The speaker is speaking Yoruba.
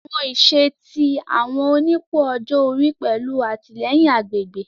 Awọn iṣẹ ti awọn onipò ọjọ ori pẹlu atilẹyin agbegbe